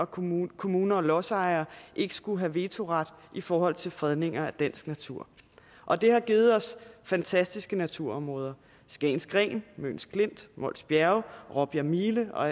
kommuner kommuner og lodsejere ikke skulle have vetoret i forhold til fredninger af dansk natur og det har givet os fantastiske naturområder skagens gren møns klint mols bjerge råbjerg mile og